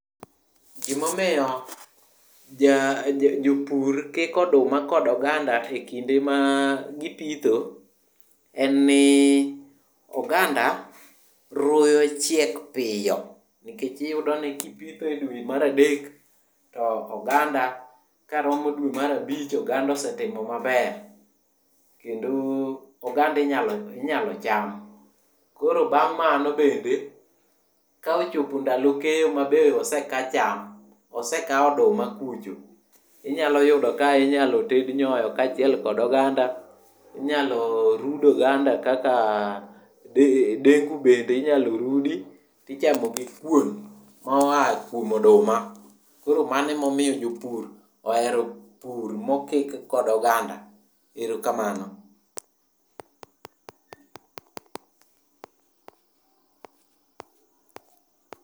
Gimomiyo jopur kiko oduma kod oganda e kinde ma gipitho en ni oganda ruyo chiek piyo nikech iyudo ni kipitho e dwe mar adek to oganda karomo dwe mar abich oganda osetimo maber kendo oganda inyalo cham. Koro bang' mano bende, ka ochopo ndalo keyo ma be oseka cham, osekaw oduma kucho, inyalo yudo ka inyalo ted nyoyo kaachiel kod oganda. Inyalo rud oganda kaka dengu. Bende inyalo rudi tichamo gi kuon moa kuom oduma. Koro mano emomiyo jopur ohero pur mokik kod oganda. Ero kamano.